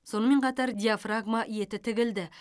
сонымен қатар диафрагма еті тігілді